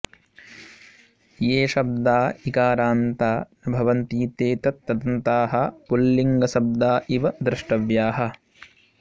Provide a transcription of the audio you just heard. ये शब्दा ईकारान्ता न भवन्ति ते तत्तदन्ताः पुँल्लिङ्गशब्दा इव द्रष्टव्याः